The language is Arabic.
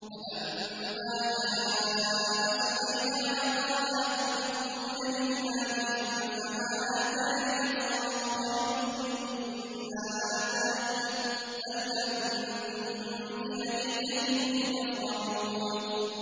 فَلَمَّا جَاءَ سُلَيْمَانَ قَالَ أَتُمِدُّونَنِ بِمَالٍ فَمَا آتَانِيَ اللَّهُ خَيْرٌ مِّمَّا آتَاكُم بَلْ أَنتُم بِهَدِيَّتِكُمْ تَفْرَحُونَ